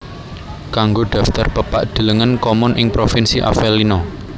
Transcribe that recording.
Kanggo daftar pepak delengen Comun ing Provinsi Avellino